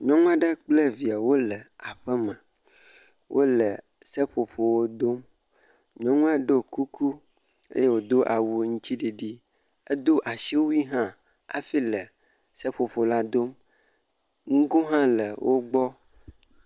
Nyɔnu aɖe kple eviawo le aƒeme, wole seƒoƒowo dom. Nyɔnua do kuku eye wòdo awu aŋutiɖiɖi, edo asiwui hã hafi le viawo seƒoƒo la dom nugo hã le gbɔ.